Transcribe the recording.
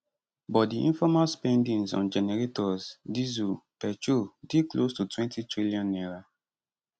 but di informal spendings on generators diesel petrol dey close to n20tn